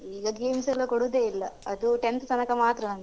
ಈಗ games ಎಲ್ಲ ಕೊಡುದೇ ಇಲ್ಲ ಅದು tenth ತನಕ ಮಾತ್ರ ನಮ್ಗೆ.